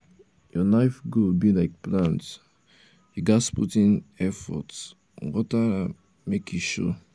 your um life goal be like plant you ghas put in um effort water am um make e show